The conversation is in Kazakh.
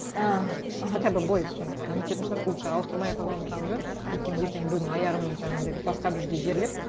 і аха хотя бы былай нететін шығар лучше ауыстырмай ақ қойған жөн өйткені ертең біреудің аяғын жаңағындай басқа бір жерге жерлеп